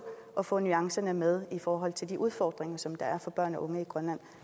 og få nuancerne med i forhold til de udfordringer som der er for børn og unge i grønland